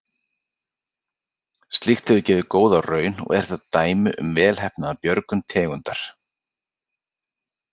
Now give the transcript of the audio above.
Slíkt hefur gefið góða raun og er þetta dæmi um velheppnaða björgun tegundar.